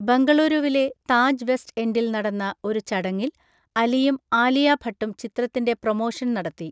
ബെംഗളൂരുവിലെ Taj west എൻഡിൽ നടന്ന ഒരു ചടങ്ങിൽ അലിയും ആലിയ ഭട്ടും ചിത്രത്തിന്‍റെ പ്രമോഷൻ നടത്തി.